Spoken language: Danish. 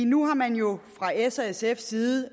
nu har man jo fra s og sfs side